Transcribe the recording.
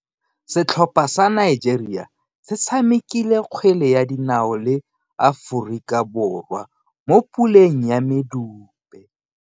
Setlhopha sa Nigeria se tshamekile kgwele ya dinao le Aforika Borwa mo puleng ya medupe.